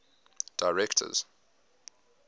directors